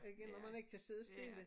Ikke når man ikke kan sidde stille